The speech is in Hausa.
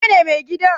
wanene mai gidan?